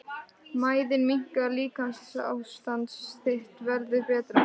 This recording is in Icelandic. Mæðin minnkar- líkamsástand þitt verður betra.